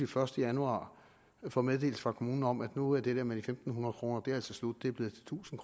første januar får meddelelse fra kommunen om at nu er det der med i fem hundrede kroner altså slut det er blevet til tusind